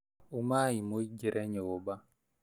Ũmai mũingĩre nyũmba